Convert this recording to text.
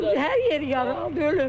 Hər yeri yaralı ölüb.